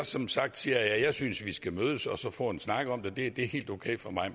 som sagt siger jeg at jeg synes vi skal mødes og så få en snak om det det er helt okay for mig